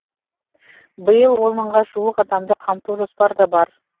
биыл он мыңға жуық адамды қамту жоспарда бар